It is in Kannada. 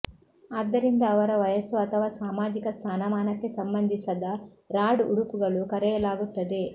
ಆದ್ದರಿಂದ ಅವರ ವಯಸ್ಸು ಅಥವಾ ಸಾಮಾಜಿಕ ಸ್ಥಾನಮಾನಕ್ಕೆ ಸಂಬಂಧಿಸದ ರಾಡ್ ಉಡುಪುಗಳು ಕರೆಯಲಾಗುತ್ತದೆ